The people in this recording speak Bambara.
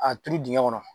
A turu dingɛ kɔnɔ